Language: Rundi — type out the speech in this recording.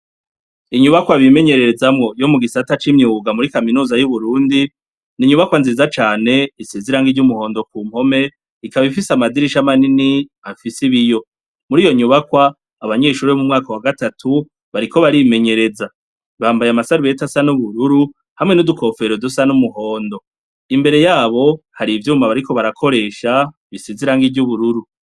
Inyubakwa bimenyerezamwo yo mugisata c'imyunga muri kaminuza y'uburundi n'inyubakwa nziza cane isize iragi ry'umuhondo kumpome ikaba ifise amadirisha manini afise ibiyo, muriyo nyubakwa abanyeshure bo mumwaka wa gatatu bariko barimenyereza bambaye amasarubeti asa n'ubururu hamwe n'udukofero dusa n'umuhondo, imbere yabo har'ivyuma bariko barakoresha risize iragi ry'ubururu.